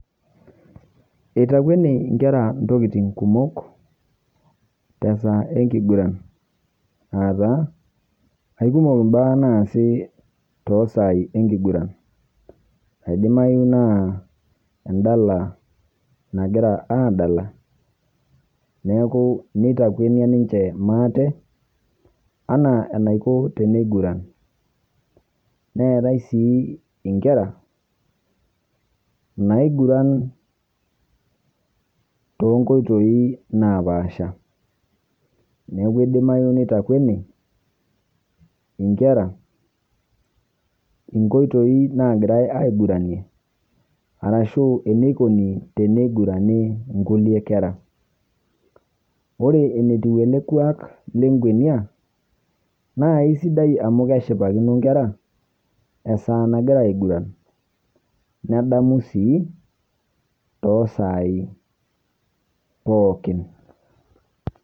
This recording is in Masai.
Eitakweni nkera ntokitin kumook te saa enkiguran aata aikumook baya nasii to saa enkiguran aidimayu naa endalaa nagira andalaa, neeku neitakweni ninchee maate ana anaikoo tene guran. Neetai sii enkera naiguran to nkotoi naapasha. Neeku edimayu neitakweni enkera enkoitoi nagirai aiguranie arashu eneikoni tene gurani nkulee nkera. Ore enetiu ele kwaak le kwenia naa esidai amu keishipakino nkera esaa nagira aiguran nedamuu sii to sai pookin.